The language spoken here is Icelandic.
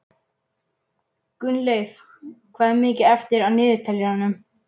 Gunnleif, hvað er mikið eftir af niðurteljaranum?